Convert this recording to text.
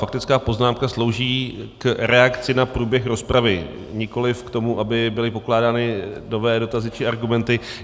Faktická poznámka slouží k reakci na průběh rozpravy, nikoliv k tomu, aby byly pokládány nové dotazy či argumenty.